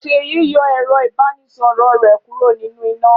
Ṣèyí yọ ẹ̀rọ-ìbánisọ̀rọ̀ rẹ̀ kúrò nínú iná.